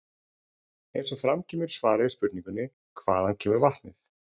Eins og fram kemur í svari við spurningunni Hvaðan kemur vatnið?